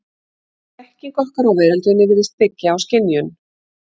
Öll þekking okkar á veröldinni virðist byggja á skynjun.